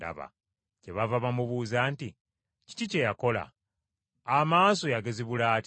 Kyebaava bamubuuza nti, “Kiki kye yakola? Amaaso yagazibula atya?”